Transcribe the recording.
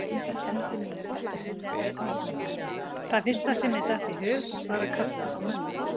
Það fyrsta sem mér datt í hug var að kalla á mömmu.